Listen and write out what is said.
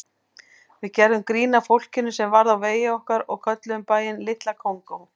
Við gerðum grín að fólkinu sem varð á vegi okkar og kölluðum bæinn Litla Kongó.